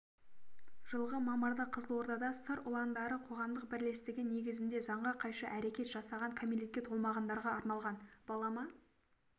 жылғы мамырда қызылордада сыр ұландары қоғамдық бірлестігі негізінде заңға қайшы әрекет жасаған кәмелетке толмағандарға арналған балама